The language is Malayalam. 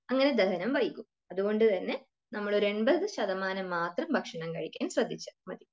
അങ്ങനെ ദഹനം വൈകും. അതുകൊണ്ട് തന്നെ നമ്മൾ ഒരു എണ്പത്ശതമാനം മാത്രം ഭക്ഷണം കഴിക്കാൻ ശ്രദ്ധിച്ചാൽ മതി.